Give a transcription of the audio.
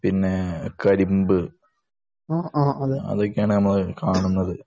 പിന്നെ കരിമ്പ് അതൊക്കെയാണ് നമ്മൾ കാണുന്നത്